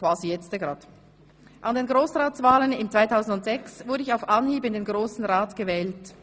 An den Grossratswahlen im 2006 wurde ich auf Anhieb in den Grossen Rat gewählt.